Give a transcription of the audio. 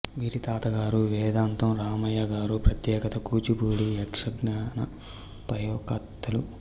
వీరి తాతగారు వేదాంతం రామయ్య గారు ప్రఖ్యాత కూచిపూడి యక్ష గాన ప్రయోక్తలు